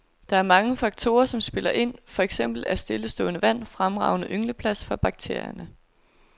Der er mange faktorer, som spiller ind, for eksempel er stillestående vand fremragende yngleplads for bakterierne.